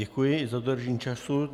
Děkuji i za dodržení času.